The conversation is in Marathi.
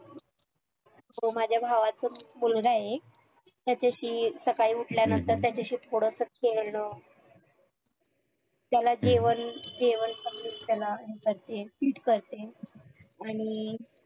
तो माझ्या भावाचा मुलगा आहे त्याच्याशी सकाळी उठल्या नंतर त्याचाशी थोडंसं खेळणं त्याला जेवण जेवण complete करते करते आणि